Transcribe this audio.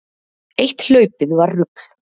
Eitt hlaupið var rugl.